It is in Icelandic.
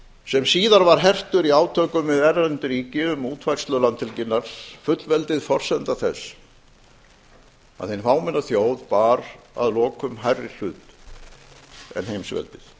sem síðar var hertur í átökum við erlend ríki um útfærslu landhelginnar fullveldið forsenda þess að hin fámenna þjóð bar að lokum hærri hlut en heimsveldið